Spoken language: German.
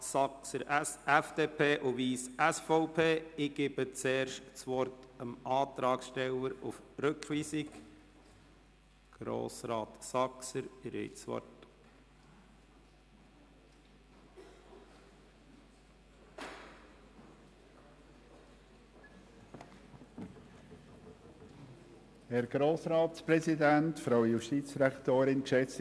Dem Grossen Rat ist in Anlehnung an bestehende Modelle anderer Kantone (z. B. SG) eine Vorlage mit einem Teilausgleich (das heisst Plafonierung der Ausgleichszahlungen) vorzulegen.